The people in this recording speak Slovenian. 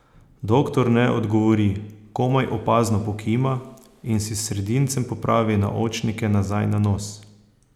Doktor ne odgovori, komaj opazno pokima in si s sredincem popravi naočnike nazaj na nos.